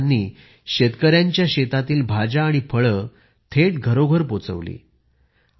या महिलांनी शेतकऱ्यांच्या शेतातील भाज्या आणि फळे थेट घरोघर पोचवली